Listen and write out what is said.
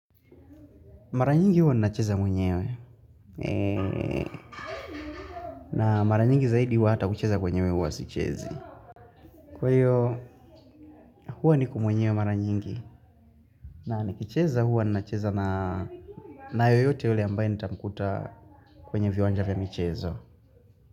Mara nyingi huwa nina cheza mwenyewe na maranyingi zaidi huwa hata kucheza kwenyewe huwa sichezi. Kwa iyo huwa niko mwenyewe maranyingi na nikicheza huwa nina cheza na na yoyote yule ambaye nitamkuta kwenye viwanjavya michezo.